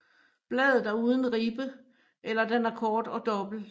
Bladet er uden ribbe eller den er kort og dobbelt